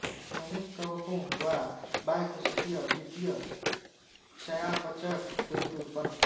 यह अनेक कवकों द्वारा बाह्यकोशिकीय द्वितीयक चयापचयक के रूप में उत्पन्न होता है